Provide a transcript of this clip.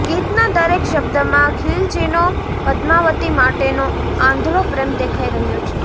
ગીતના દરેક શબ્દમાં ખિલજીનો પદ્માવતી માટેનો આંધળો પ્રેમ દેખાઈ રહ્યો છે